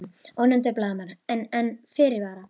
Ónefndur blaðamaður: En, en fyrirvara?